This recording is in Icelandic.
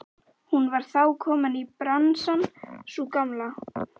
Hún var þá komin í bransann sú gamla!